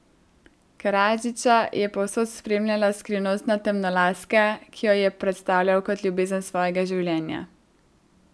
Karadžića je povsod spremljala skrivnostna temnolaska, ki jo je predstavljal kot ljubezen svojega življenja.